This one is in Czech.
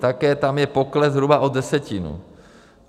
Také tam je pokles zhruba o desetinu.